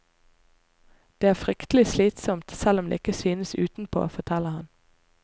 Det er fryktelig slitsomt, selv om det ikke synes utenpå, forteller han.